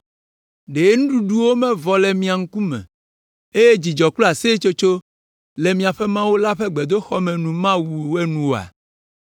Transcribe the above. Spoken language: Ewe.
Ɖe nuɖuɖuwo mevɔ le mia ŋkume eye dzidzɔ kple aseyetsotso le miaƒe Mawu la ƒe gbedoxɔ me mawu enu oa?